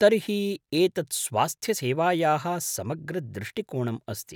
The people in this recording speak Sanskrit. तर्हि एतत् स्वास्थ्यसेवायाः समग्रदृष्टिकोणम् अस्ति।